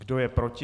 Kdo je proti?